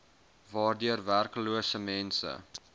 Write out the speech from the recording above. waardeur werklose mense